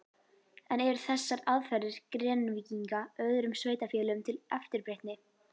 En eru þessar aðferðir Grenvíkinga öðrum sveitarfélögum til eftirbreytni?